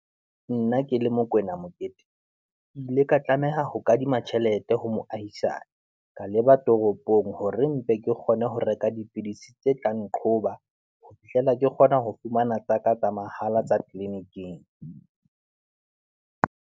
Nna ke le Mokwena Mokete, ke ile ka tlameha ho kadima tjhelete ho moahisane. Ka leba toropong hore mpe ke kgone ho reka dipidisi tse tlang qhoba, ho fihlella. Ke kgona ho fumana tsaka tsa mahala tsa tleliniking.